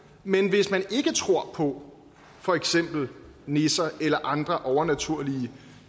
men hvis man ikke tror på for eksempel nisser eller andre overnaturlige